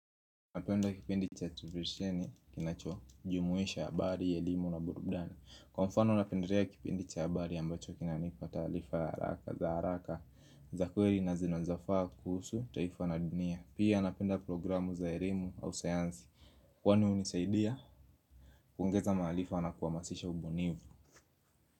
Napenda kipindi cha Terevisheni kinacho jumuisha habari, ya elimu na burudani Kwa mfano napendelea kipindi cha habari ambacho kinanipa taarifa za haraka za kweli na zinozafaa kuhusu, taifa na dunia Pia napenda programu za erimu au sayansi Kwani unisaidia, kuongeza maarifa na kuhamasisha ubunifu.